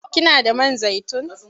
Kina da man zaitun?